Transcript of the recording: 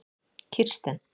Kirsten